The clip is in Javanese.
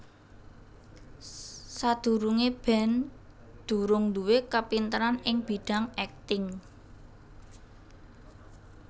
Sadurungé Ben durung nduwé kapinteran ing bidhang èkting